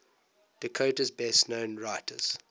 dakota's best known writers